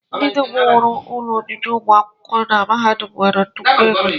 Ndị dum wuru ụlọ obibi ụmụ akwụkwọ na mahadum nwere nnukwu ego